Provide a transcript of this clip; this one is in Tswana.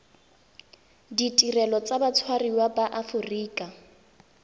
ditirelo tsa batshwariwa ba aforika